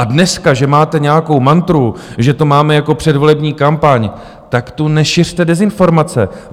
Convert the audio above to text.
A dneska že máte nějakou mantru, že to máme jako předvolební kampaň - tak tu nešiřte dezinformace.